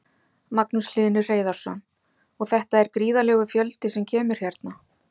Magnús Hlynur Hreiðarsson: Og þetta er gríðarlegur fjöldi sem kemur hérna?